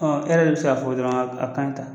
Ɔn e yɛrɛ be se k'a fɔ dɔrɔn a kaɲi tan.